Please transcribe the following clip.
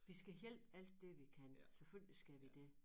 Vi skal hjælpe alt det vi kan selvfølgelig skal vi det